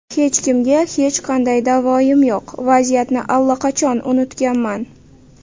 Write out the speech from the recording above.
Hech kimga hech qanday da’voyim yo‘q, vaziyatni allaqachon unutganman.